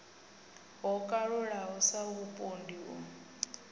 ho kalulaho sa vhupondi u